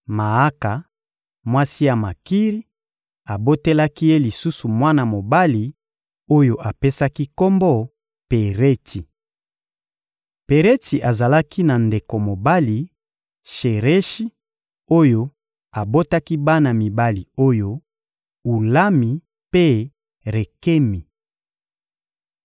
Maaka, mwasi ya Makiri, abotelaki ye lisusu mwana mobali oyo apesaki kombo «Peretsi.» Peretsi azalaki na ndeko mobali, Shereshi, oyo abotaki bana mibali oyo: Ulami mpe Rekemi.